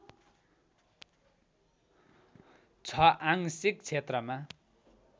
छ आंशिक क्षेत्रमा